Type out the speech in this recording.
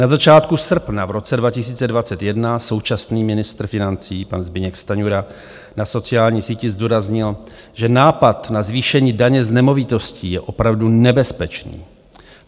Na začátku srpna v roce 2021 současný ministr financí pan Zbyněk Stanjura na sociální síti zdůraznil, že nápad na zvýšení daně z nemovitosti je opravdu nebezpečný.